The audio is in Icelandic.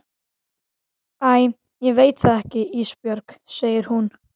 Æ ég veit það ekki Ísbjörg, segir hún.